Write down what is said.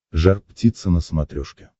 жар птица на смотрешке